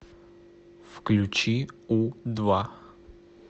включи у два